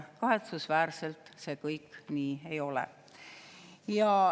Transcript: Kahetsusväärselt see nii ei ole.